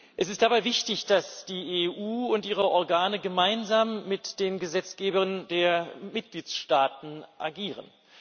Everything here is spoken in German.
Es ist aber wichtig, dass die EU und ihre Organe gemeinsam mit den Gesetzgebern der Mitgliedstaaten agieren.